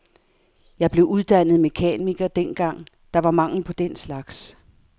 Jeg blev uddannet mekaniker dengang, der var mangel på den slags.